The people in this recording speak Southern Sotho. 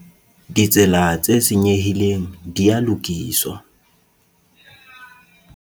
Ditsela tse senyehileng di a lokiswa.